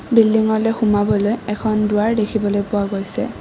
বিল্ডিংলৈ সোমাবলৈ এখন দুৱাৰ দেখিবলৈ পোৱা গৈছে।